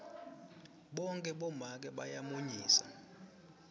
bohkhe bomake bayamunyisa